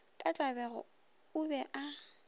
ka tlabego a be a